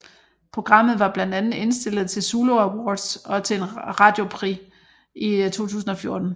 Programmet var blandt andet indstillet til en Zulu Awards og til en Radio Prix i 2014